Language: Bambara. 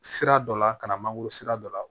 Sira dɔ la ka na mangoro sira dɔ la